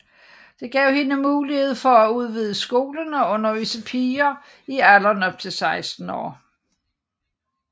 Det gav hende mulighed for at udvide skolen og undervise piger i alderen op til 16 år